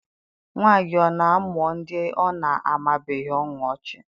Nwa gị ọ na-amụọ ndị ọ na-amabughị ọnụ ọchị?